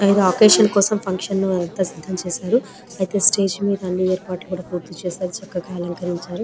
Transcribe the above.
ఏదో ఒచ్చసిఒన్ కోసం ఫంక్షన్ ని ఎరుపాటు చేసారు అయతె అని ఎరుపతలని పూర్తి చేసి రు